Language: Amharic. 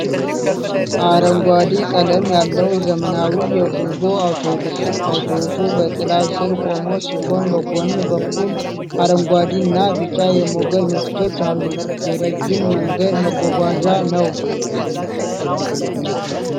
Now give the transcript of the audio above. አረንጓዴ ቀለም ያለው ዘመናዊ የጉዞ አውቶቡስ ። አውቶቡሱ በጥላ ስር ቆሞ ሲሆን፣ በጎን በኩልም አረንጓዴና ቢጫ የሞገድ ምልክቶች አሉ። የረጅም መንገድ መጓጓዣ ነው።